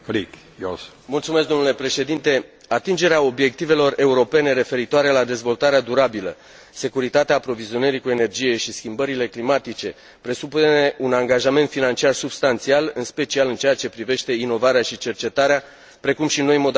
Atingerea obiectivelor europene referitoare la dezvoltarea durabilă, securitatea aprovizionării cu energie și schimbările climatice presupune un angajament financiar substanțial, în special în ceea ce privește inovarea și cercetarea, precum și noi modalități de completare a finanțării existente.